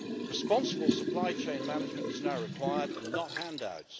Responsible supply chain management is now required, and not handouts.